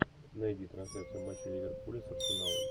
найди трансляцию матча ливерпуля с арсеналом